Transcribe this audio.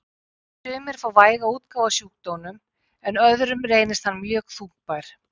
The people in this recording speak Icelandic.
Sumir fá væga útgáfu af sjúkdómnum en öðrum reynist hann mjög þungbær.